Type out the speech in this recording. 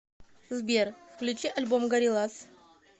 сбер включи альбом гориллаз